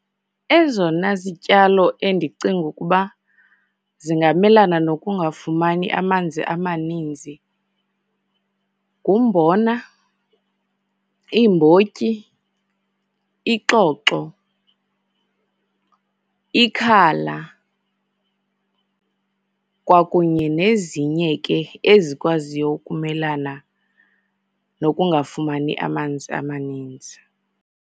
Ezona zityalo endicinga ukuba zingamelana nokungafumani amanzi amaninzi ngumbona, iimbotyi, ixoxo, ikhala, kwakunye nezinye ke ezikwaziyo ukumelana nokungafumani amanzi amaninzi.